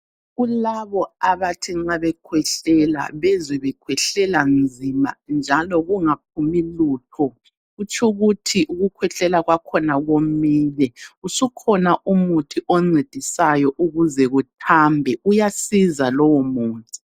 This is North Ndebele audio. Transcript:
Kulabo abathi nxa bekhwehlela, bezwe bekhwehlela nzima njalo kungaphumi lutho. Kutshukuthi ukukhwehlela kwakhona komile. Usukhona umuthi oncedisayo ukuze kuthambe, uyasiza lowomuthi.